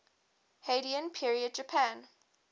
heian period japan